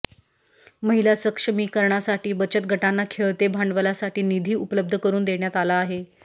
महिला सक्षमीकरणासाठी बचत गटांना खेळते भांडवलासाठी निधी उपलब्ध करून देण्यात आला आहे